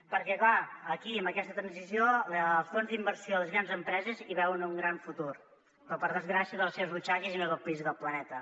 perquè clar aquí amb aquesta transició els fons d’inversió de les grans empreses hi veuen un gran futur però per desgràcia per a les seves butxaques i no del país i del planeta